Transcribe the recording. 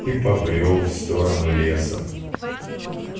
и побрёл в сторону леса